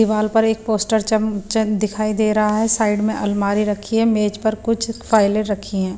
दीवार पर एक पोस्टर च दिखाई दे रहा है साइड में अलमारी रखी है मेज पर कुछ फाइलें रखी है।